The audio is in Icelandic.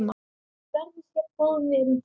Verður góðum vinum falinn.